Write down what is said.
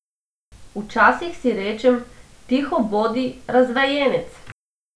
Včasih si rečem, tiho bodi, razvajenec!